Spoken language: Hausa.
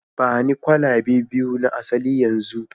ba ni kwalabe biyu na asali yanzu